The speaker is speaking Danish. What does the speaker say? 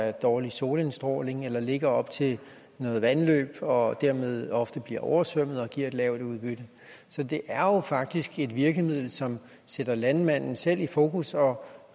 er dårlig solindstråling eller som ligger op til et vandløb og dermed ofte bliver oversvømmet og giver et lavt udbytte så det er jo faktisk et virkemiddel som sætter landmanden selv i fokus og